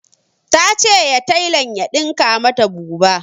Ta ce ya tailan ya dinka mata bubu